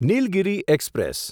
Nilgiri express